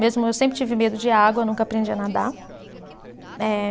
Mesmo eu sempre tive medo de água, nunca aprendi a nadar. Eh